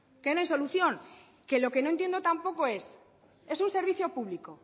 que no hay solución que lo que no entiendo tampoco es es un servicio público